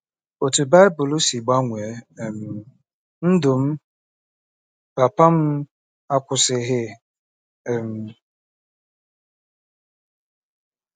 OTÚ BAỊBỤL SI GBANWEE um NDỤ M: Papa m akwụsịghị. um